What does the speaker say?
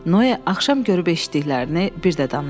Noa axşam görüb eşitdiklərini bir də danışdı.